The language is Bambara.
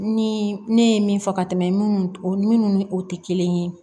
Ni ne ye min fɔ ka tɛmɛ minnu ni o tɛ kelen ye